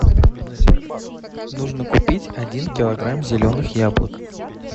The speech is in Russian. нужно купить один килограмм зеленых яблок